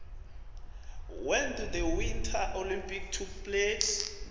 when do the winter olympics take place